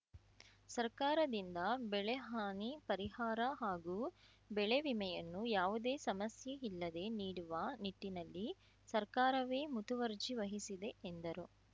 ಸರ್ಕಾರದಿಂದ ಬೆಳೆಹಾನಿ ಪರಿಹಾರ ಹಾಗೂ ಬೆಳೆವಿಮೆಯನ್ನೂ ಯಾವುದೇ ಸಮಸ್ಯೆಯಿಲ್ಲದೇ ನೀಡುವ ನಿಟ್ಟಿನಲ್ಲಿ ಸರ್ಕಾರವೇ ಮುತುವರ್ಜಿ ವಹಿಸಿದೆ ಎಂದರು